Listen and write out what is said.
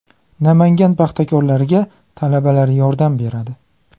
Namangan paxtakorlariga talabalar yordam beradi.